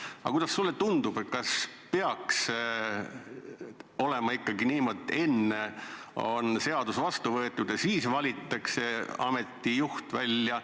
Ent kuidas sulle tundub, kas peaks olema ikkagi niimoodi, et enne võetakse seadus vastu ja siis valitakse ameti juht?